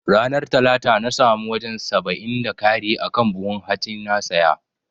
Ranar talata na samu wajan saba'in da kari akan buhun hatsin na saya